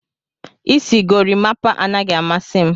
Isi gorimapa anaghị amasị m.